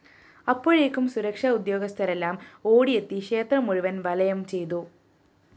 അപ്പോഴേക്കും സുരക്ഷാ ഉദ്യോഗസ്ഥരെല്ലാം ഓടിയെത്തി ക്ഷേത്രം മുഴുവന്‍ വലയം ചെയ്തു